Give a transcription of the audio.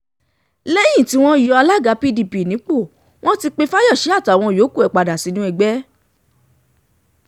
lẹ́yìn tí wọ́n um yọ alága pdp nípò um wọ́n ti pe fáyọ́ṣe àtàwọn yòókù ẹ̀ padà sínú ẹgbẹ́